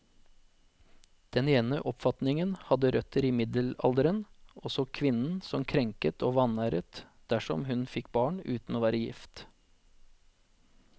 Den ene oppfatningen hadde røtter i middelalderen, og så kvinnen som krenket og vanæret dersom hun fikk barn uten å være gift.